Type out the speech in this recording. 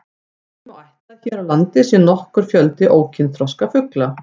Því má ætla að hér á landi sé nokkur fjöldi ókynþroska ungfugla.